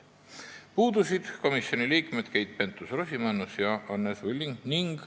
Puudusid komisjoni liikmed Keit Pentus-Rosimannus ja Anne Sulling.